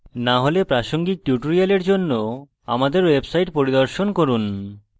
না হলে প্রাসঙ্গিক টিউটোরিয়াল জন্য আমাদের ওয়েবসাইট পরিদর্শন করুন